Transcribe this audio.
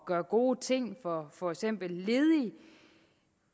gøre gode ting for for eksempel ledige